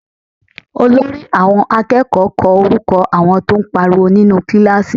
Olórí àwọn akẹ́kọ̀ọ́ kọ orúkọ àwọn tó ń pariwo nínú kíláàsì